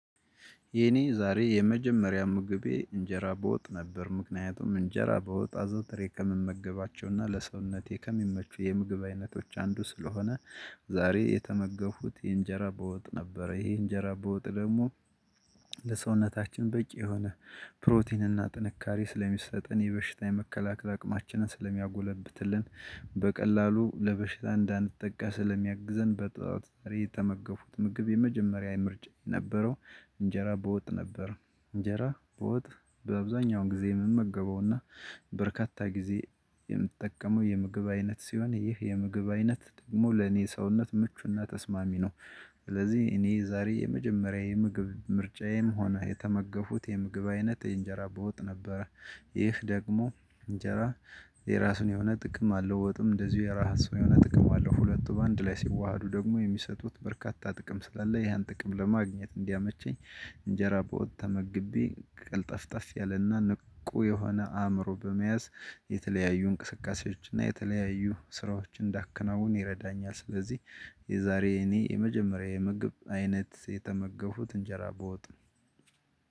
የኔ ዛሬ የመጀመሪያ ምግቤ እንጀራ በወጥ ነበር ምክንያቱም እንጀራ በወጥ አዘውትሬ ከምመገባቸውና ለሰውነቴ ከሚመቹ የምግብ አይነቶች አንዱ ስለሆነ። ዛሬ የተመገፉኩት የእጀራ በወጥ ነበረ ይሄ እንጀራ በወጥ ደግሞ ለሰውነታችን በቂ የሆነ ፕሮቲን እና ጥንካሬ ስለሚሰጠን የበሽታ የመከላከል አቅማችንን ስለሚያጎለብትልን በቀላሉ ለበሽታ እንዳንጠቃ ስለሚያግዘን። በጠላት ዛሬ የተመገፉኩት ምግብ የመጀመሪያ ምርጫየ የነበረው እንጀራ በወጥ ነበር። እንጀራ በወጥ በአብዛኛው ጊዜ ምመገበው እና በርካታ ጊዜ የምጠቀመው የምግብ አይነት ሲሆን ይህ የምግብ አይነት ደግሞ ለኔ ሰውነት ምቹና ተስማሚ ነው። ስለዚህ እኔ ዛሬ የመጀመሪያዬ የምግብ ምርጫዬም ሆነ የተመገፉኩት የምግብ አይነት የእንጀራ በወጥ ነበር። ይህ ደግሞ እንጀራ የራሱን የሆነ ጥቅም አለው ወጡም እንደዚሁ የራሱን የሆነ ጥቅም አለው ሁለቱ በአንድ ላይ ሲዋሃዱ ደግሞ የሚሰጡት በርካታ ጥቅም ስላለ ያን ጥቅም ለማግኘት እንዲያመቸኝ። እንጀራ በወጥ ተመግቤ ቀልጠፍጥፍ ያለና ንቁ የሆነ አእምሮ በመያዝ የተለያዩ እንቅስቃሴዎችና እና የተለያዩ ስራዎች እንዳከናውን ይረዳኛል። ስለዚህ የዛሬ እኔ የመጀመሪያ የምግብ አይነት የተመገፉኩት እንጀራ በወጥ ነው።